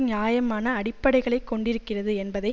நியாயமான அடிப்படைகளை கொண்டிருக்கிறது என்பதை